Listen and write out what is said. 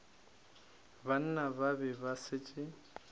banna ba be ba šetše